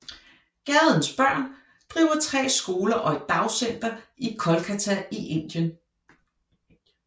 Gadens Børn driver tre skoler og et dagcenter i Kolkata i Indien